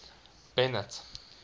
bennet